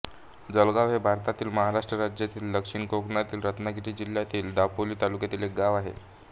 जालगाव हे भारतातील महाराष्ट्र राज्यातील दक्षिण कोकणातील रत्नागिरी जिल्ह्यातील दापोली तालुक्यातील एक गाव आहे